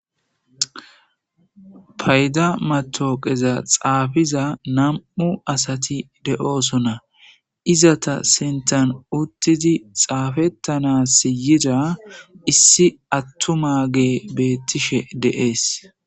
Payidda mattoqqaza xaffiza Nam'u asati deoosona izeta sinththan uttidi xaffetana yiddageti issi attumageyi bettishe de'es.